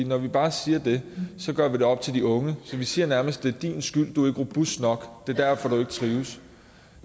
når vi bare siger det gør vi det op til de unge så siger vi nærmest det er din skyld du er ikke robust nok det er derfor du ikke trives